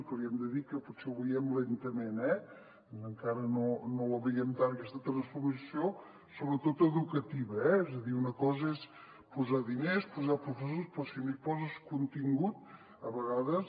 que li hem de dir que potser ho veiem lentament eh encara no la veiem tant aquesta transformació sobretot educativa eh és a dir una cosa és posar diners posar professors però si no hi poses contingut a vegades